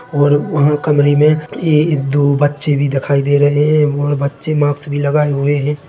और वहाँ कमरे मे ए-एक दो बच्चे भी दिखाई दे रहे है और बच्चे मास्क भी लगाए हुए है।